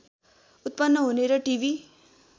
उत्पन्न हुने र टिभी